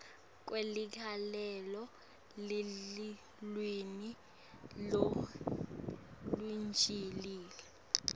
kweligalelo lelulwimi lolujulile